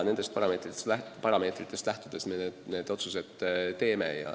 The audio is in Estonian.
Nendest parameetritest lähtudes me need otsused teeme.